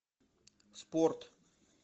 спорт